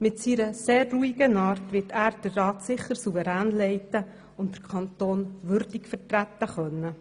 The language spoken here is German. Mit seiner sehr ruhigen Art wird er den Rat sicher souverän leiten und den Kanton würdig vertreten können.